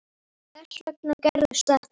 Þess vegna gerðist þetta.